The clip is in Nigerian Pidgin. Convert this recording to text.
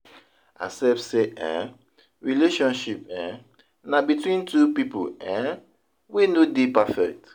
Accept sey um relationship um na between two pipo um wey no dey perfect